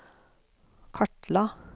kartla